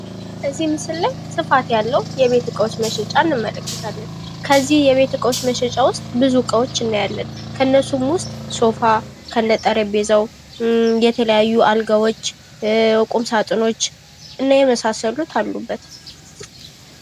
እዚህ ምስል ላይ ስፋት ያለው የቤት እቃዎች መሸጫ እንመለከታለን። ከዚህ የቤት እቃዎች መሸጫ ውስጥ ብዙ እቃዎች እናያለን። ከእነዚህም ውስጥ ሶፋ ከነጠረጴዛው፣ የተለያዩ አልጋዎች፣ ቁም ሳጥኖች እና የመሳሰሉት አሉበት።